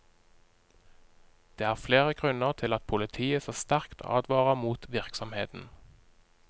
Det er flere grunner til at politiet så sterkt advarer mot virksomheten.